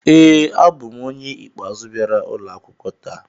ee, abụ m onye ikpeazụ bịara ụlọ akwụkwọ taa